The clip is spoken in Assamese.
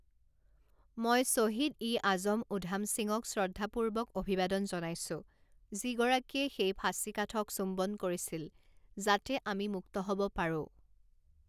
মই শ্বহীদ ই আজম উধাম সিঙক শ্ৰদ্ধাপূৰ্বক অভিবাদন জনাইছোঁ যিগৰাকীয়ে সেই ফাঁচিকাঠক চুম্বন কৰিছিল যাতে আমি মুক্ত হ'ব পাৰো।